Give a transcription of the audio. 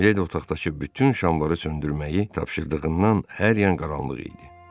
Miledi otaqdakı bütün şamları söndürməyi tapşırdığından hər yan qaranlıq idi.